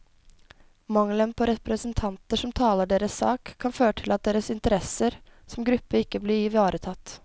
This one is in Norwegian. Mangelen på representanter som taler deres sak, kan føre til at deres interesser som gruppe ikke blir ivaretatt.